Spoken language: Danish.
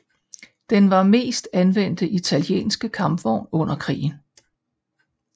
Den var mest anvendte italienske kampvogn under krigen